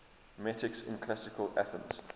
metics in classical athens